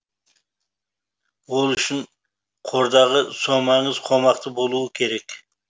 ол үшін қордағы сомаңыз қомақты болу керек